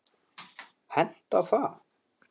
Hentar það?